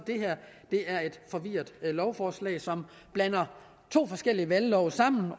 det her er et forvirret lovforslag som blander to forskellige valglove sammen